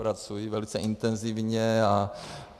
Pracuji velice intenzivně.